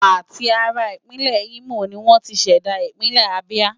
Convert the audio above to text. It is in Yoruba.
Àti ara Ìpínlẹ̀ Imo ni wọ́n ti ṣẹ̀dá Ìpínlẹ̀ Abia.